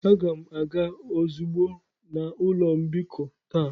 Aga m aga ozugbo na ụlọ mbikọ taa.